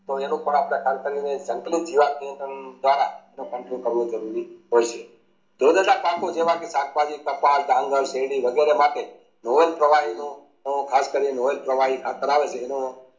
તેનું થોડું આપડે જીવાત નિયંત્રણ દ્વારા જરૂરી હોય છે પાકો જેવા કે શાખાબાજી, કપાસ, ડાંગર, શેરડી વગેરે માટે નોવાલ પ્રવની નો ખાસ કરીએ નોવા પ્રવની ખાતર આવે છે એનો